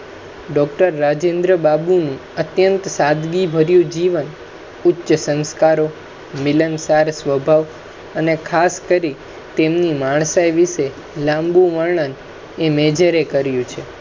doctor Rajendra બાબુનુ અત્યંત સાદગીભર્યુ જીવન ઉચ્ચ સંસ્કારો, મિલનસાર સ્વભાવ અને ખાસ કરી તેમની માણસાઈ વિશે લાંબુ વણૅન એ major એ કયૅુ છે